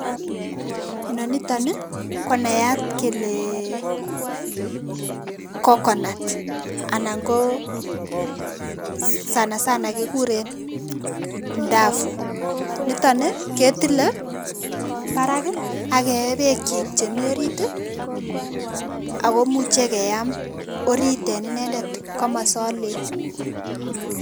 Inonito ni konayat kelee Coconut anan koo[cs[ sanasana kekuren mdafu nito ni ketile parak akee bekyi chemi orit akomuche keam orit en inendet komosan lel.